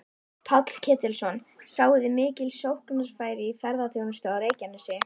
Páll Ketilsson: Sjáið þið mikil sóknarfæri í ferðaþjónustu á Reykjanesi?